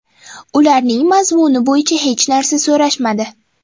Ularning mazmuni bo‘yicha hech narsa so‘rashmadi”.